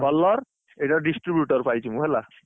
ଆଉ colour ଏଇଟା କୁ distributor ପାଇଛି ମୁଁ ହେଲା।